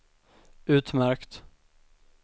utmärkt